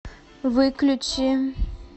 выключи